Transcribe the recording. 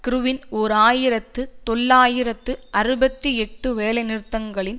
கிறிவின் ஓர் ஆயிரத்தி தொள்ளாயிரத்து அறுபத்தி எட்டு வேலைநிறுத்தங்களின்